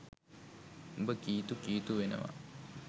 උඹ කීතු කීතු වෙනවා.